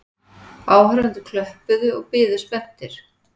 Áhorfendur klöppuðu og biðu spenntir.